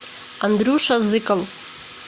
андрюша зыков